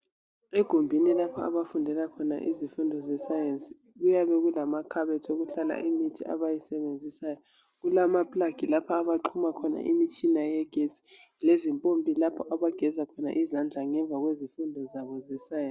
Egumbini lapha abafundela khona izifundo zesayensi kuyabe kulamakhabothi okuhlala imithi abayisebenzisayo. Kulamaplug abaxhuma khona imitshina eyegetsi lezimpompi lapho abageza khona izandla ngemva kwezifundo zabo zesayensi.